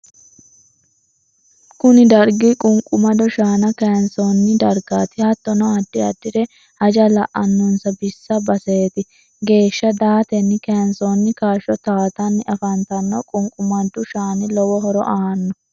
kuni dargi qunqumado shaana kayinsoonni dargati. hattonni addi addiri haja la'anonsa bissa basete geesha daatenni kayinsonni kaasho tawatanni afantanno. qunqumadu shaani lowo horo aanno.